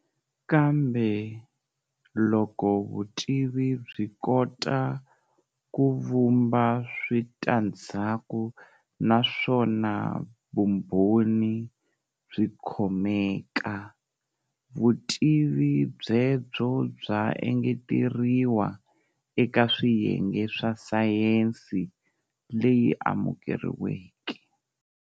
Kambe loko vutivi byi kota kuvhumba switandhzaku naswona vumbhoni byikhomeka, vutivi byebyo bya engeteriwa eka swiyenge swa Sayensi leyi amukeriweke.